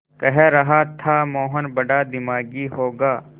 कह रहा था मोहन बड़ा दिमागी होगा